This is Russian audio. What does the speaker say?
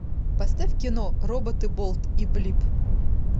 поставь кино роботы болт и блип